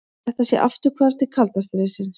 Þetta sé afturhvarf til kalda stríðsins